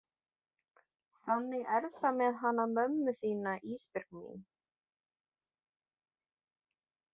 Þannig er það með hana mömmu þína Ísbjörg mín.